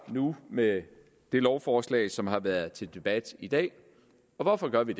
med det lovforslag som har været til debat i dag og hvorfor gør vi